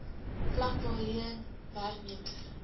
vlak waarheen werknemer